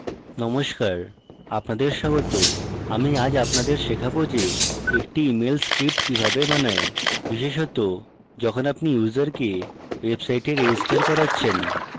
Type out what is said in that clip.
নমস্কার আপনাদের স্বাগত আজ আমি আপনাদের শেখাবো যে একটি email script কিভাবে বানায় বিশেষত যখন আপনি ইউসারকে website registering করাচ্ছেন